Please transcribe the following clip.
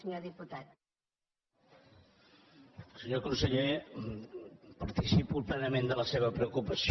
senyor conseller participo plenament de la seva preocupació